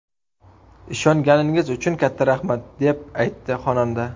Ishonganingiz uchun katta rahmat”, – deb aytdi xonanda.